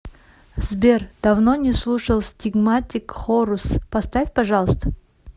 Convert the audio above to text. сбер давно не слушал стигматик хорус поставь пожалуйста